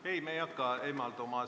Ei, me ei hakka eemalduma.